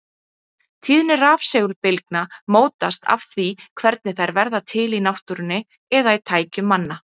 Tíðni rafsegulbylgna mótast af því hvernig þær verða til í náttúrunni eða í tækjum manna.